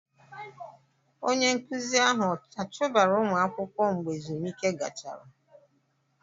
Onye nkụzi ahụ achụbara ụmụ akwụkwọ mgbe ezumike gachara?